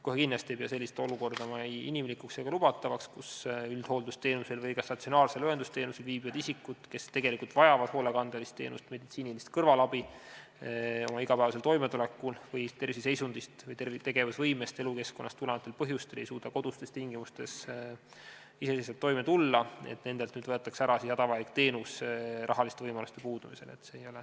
Kohe kindlasti ei pea ma inimlikuks ega lubatavaks sellist olukorda, kus üldhooldusteenusel või ka statsionaarsel õendusteenusel viibinud isikutelt, kes tegelikult vajavad hoolekandelist teenust, näiteks inimeste kõrvalabi oma igapäevasel toimetulekul, või ei suuda terviseseisundist, tegevusvõimest ja ka elukeskkonnast tulenevatel põhjustel kodustes tingimustes iseseisvalt toime tulla, võetakse hädavajalik teenus ära rahaliste võimaluste puudumise tõttu.